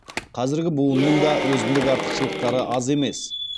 қазіргі буынның да өзіндік артықшылықтары аз емес